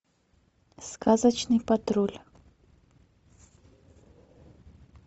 сказочный патруль